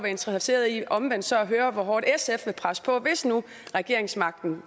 interesseret i omvendt så at høre hvor hårdt sf vil presse på hvis nu regeringsmagten